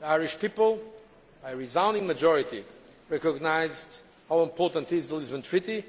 The Irish people, by a resounding majority, recognised the importance of the Lisbon Treaty,